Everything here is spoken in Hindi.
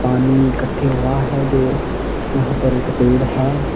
पानी इकट्ठे हुआ है जो यहां पर एक पेड़ है।